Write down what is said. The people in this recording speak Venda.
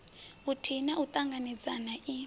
vhuthihi na u ṱanganedzana i